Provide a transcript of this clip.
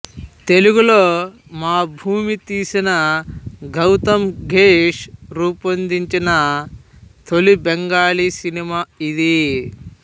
తెలుగులో మా భూమి తీసిన గౌతమ్ ఘోష్ రూపొందించిన తొలి బెంగాలీ సినిమా ఇది